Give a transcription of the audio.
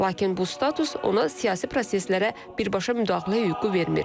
Lakin bu status ona siyasi proseslərə birbaşa müdaxilə hüququ vermir.